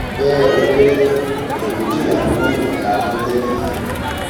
bẹẹ ó kéré tán èèyàn méjìlá ni wọn yìnbọn pa ní lékì yìí